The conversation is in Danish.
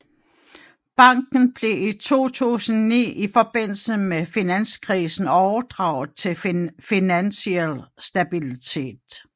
Banken blev i 2009 i forbindelse med finanskrisen overdraget til Finansiel Stabilitet